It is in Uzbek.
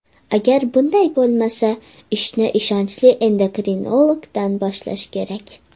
Agar bunday bo‘lmasa, ishni ishonchli endokrinologdan boshlash kerak.